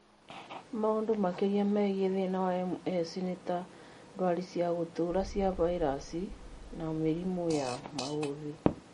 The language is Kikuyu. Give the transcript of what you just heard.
Maũndũ makĩria megiĩ thina wa MS nĩta ndwari cia gũtũra cia vairaci na mĩrimũ ya maũthĩ